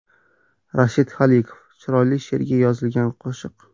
Rashid Xoliqov: Chiroyli she’rga yozilgan qo‘shiq.